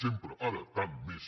sempre ara tant més